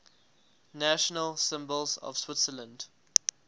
national symbols of switzerland